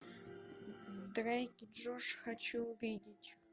дрейк и джош хочу увидеть